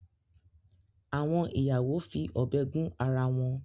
Àwọn ìyàwó fi ọ̀bẹ gún ara wọn